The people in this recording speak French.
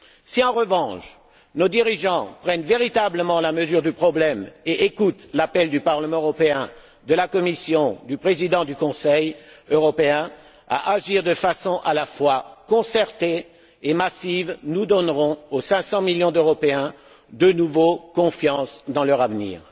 Si, en revanche, nos dirigeants prennent véritablement la mesure du problème et écoutent l'appel du Parlement européen, de la Commission, du Président du Conseil européen, à agir de façon à la fois concertée et massive, nous donnerons aux 500 millions d'Européens de nouveau confiance dans leur avenir.